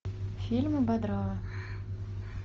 фильмы бодрова